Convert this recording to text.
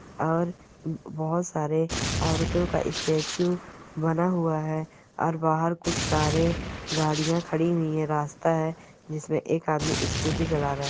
और बहुत सारे औरतों का स्टेचू बना हुआ है और बाहर कुछ कारे गाड़ियां खड़ी हुई है रास्ता है जिसमें एक आदमी स्कूटी चला रहा है।